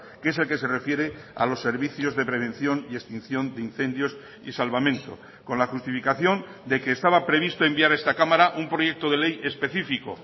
que es el que se refiere a los servicios de prevención y extinción de incendios y salvamento con la justificación de que estaba previsto enviar a esta cámara un proyecto de ley específico